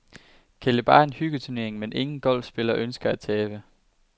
Kald det bare en hyggeturnering, men ingen golfspiller ønsker at tabe.